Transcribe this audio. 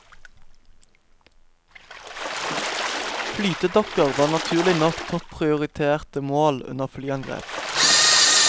Flytedokker var naturlig nok topp prioriterte mål under flyangrep.